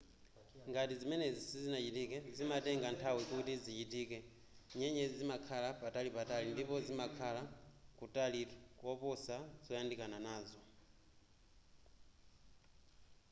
ngati zimenezi sizinachitike zimatenga nthawi kuti zichitike.nyenyezi zimakhala patalipatali ndipo zimakhala kutalitu koposa zoyandikana nazo